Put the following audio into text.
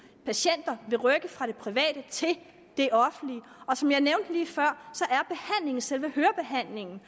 patienter vil rykke fra det private til det offentlige og som jeg nævnte lige før er selve hørebehandlingen